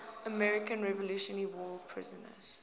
american revolutionary war prisoners